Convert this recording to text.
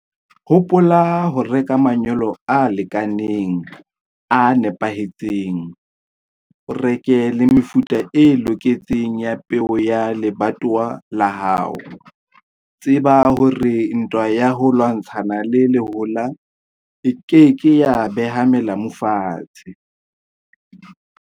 Hopola ho reka manyolo a lekaneng, a nepahetseng. O reke le mefuta e loketseng ya peo ya lebatowa la hao. Tseba hore ntwa ya ho lwantshana le lehola e ke ke ya beha melamu fatshe.